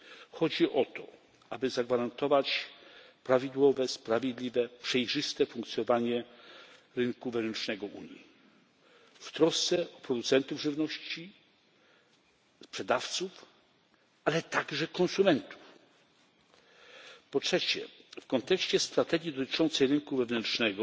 Chodzi o to, aby zagwarantować prawidłowe, sprawiedliwie, przejrzyste funkcjonowanie rynku wewnętrznego Unii w trosce o producentów żywności, sprzedawców, ale także konsumentów. Po trzecie, w kontekście strategii dotyczącej rynku wewnętrznego